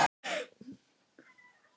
Hann hljóp við fót og út í sjoppu.